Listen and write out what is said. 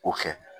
O kɛ